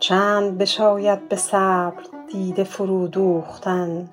چند بشاید به صبر دیده فرو دوختن